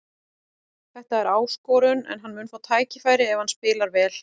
Þetta er áskorun en hann mun fá tækifæri ef hann spilar vel.